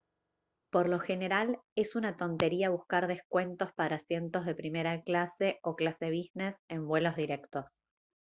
por lo general es una tontería buscar descuentos para asientos de primera clase o clase business en vuelos directos